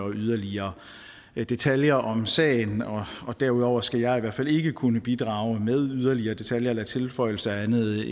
yderligere detaljer om sagen derudover skal jeg i hvert fald ikke kunne bidrage med yderligere detaljer eller tilføjelser andet